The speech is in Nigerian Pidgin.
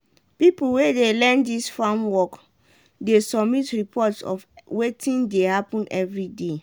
pipo wey dey learn dis farm work dey submit report of wetin dey happen everyday.